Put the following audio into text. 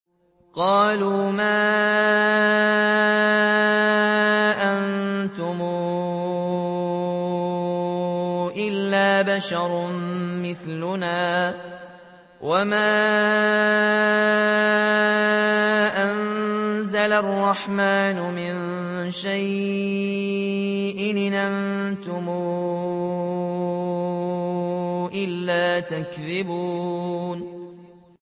قَالُوا مَا أَنتُمْ إِلَّا بَشَرٌ مِّثْلُنَا وَمَا أَنزَلَ الرَّحْمَٰنُ مِن شَيْءٍ إِنْ أَنتُمْ إِلَّا تَكْذِبُونَ